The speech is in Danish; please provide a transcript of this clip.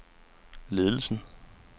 ledelsen